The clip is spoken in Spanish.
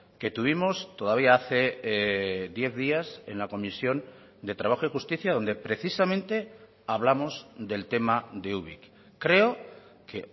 que tuvimos todavía hace diez días en la comisión de trabajo y justicia donde precisamente hablamos del tema de ubik creo que